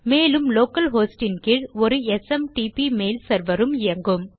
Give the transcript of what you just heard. மேலும் local host இன் கீழ் ஒரு எஸ்எம்டிபி மெயில் செர்வர் உம் இயங்கும்